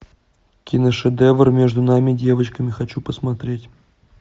киношедевр между нами девочками хочу посмотреть